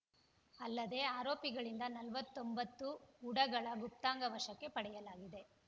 ಅಲ್ಲದೆ ಆರೋಪಿಗಳಿಂದ ನಲವತ್ತೊಂಬತ್ತು ಉಡಗಳ ಗುಪ್ತಾಂಗ ವಶಕ್ಕೆ ಪಡೆಯಲಾಗಿದೆ